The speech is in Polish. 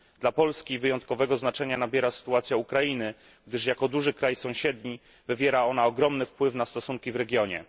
Dla Polski wyjątkowego znaczenia nabiera sytuacja Ukrainy, gdyż jako duży kraj sąsiedni wywiera ona ogromny wpływ na stosunki w regionie.